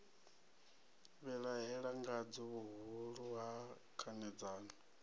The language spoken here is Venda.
vhilahela ngadzo vhuhulu ha khanedzano